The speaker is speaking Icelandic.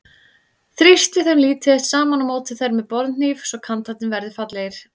Þrýstið þeim lítið eitt saman og mótið þær með borðhníf svo kantarnir verði fallegir.